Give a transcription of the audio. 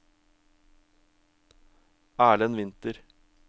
Erlend Winther